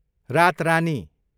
रातरानी